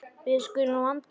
Við skulum vanda okkur.